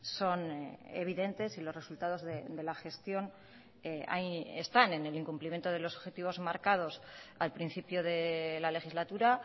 son evidentes y los resultados de la gestión ahí están en el incumplimiento de los objetivos marcados al principio de la legislatura